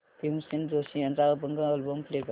भीमसेन जोशी यांचा अभंग album play कर